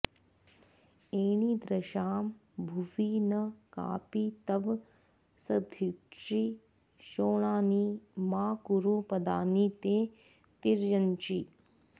एणीदृशां भुवि न कापि तव सध्रीची शोणानि मा कुरु पदानि ते तिर्यञ्चि